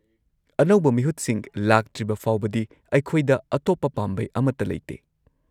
-ꯑꯅꯧꯕ ꯃꯤꯍꯨꯠꯁꯤꯡ ꯂꯥꯛꯇ꯭ꯔꯤꯕ ꯐꯥꯎꯕꯗꯤ, ꯑꯩꯈꯣꯏꯗ ꯑꯇꯣꯞꯄ ꯄꯥꯝꯕꯩ ꯑꯃꯠꯇ ꯂꯩꯇꯦ ꯫